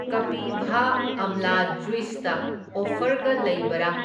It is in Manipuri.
ꯀꯄꯤꯚꯥ ꯑꯝꯂꯥ ꯖꯨꯢꯁꯇ ꯑꯣꯐꯔꯒ ꯂꯩꯕꯔꯥ?